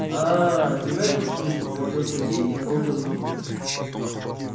ааа ты в этом смысле говорил сергей и надолго задумывается